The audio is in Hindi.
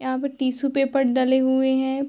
यहाँ पअ टिशू पेपर डले हुए हैं।